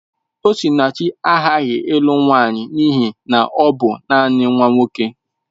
Osinachi aghaghị ịlụ nwanyị n'ihi na ọ bụ nanị nwa nwoke.